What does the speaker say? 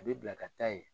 A bɛ bila ka taa yen